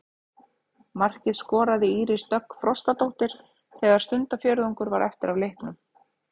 Markið skoraði Íris Dögg Frostadóttir þegar stundarfjórðungur var eftir af leiknum.